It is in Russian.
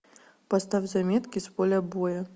поставь заметки с поля боя